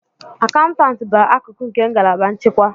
Akaụntụ bụ akụkụ nke ngalaba nchịkwa.